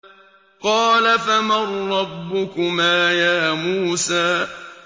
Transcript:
قَالَ فَمَن رَّبُّكُمَا يَا مُوسَىٰ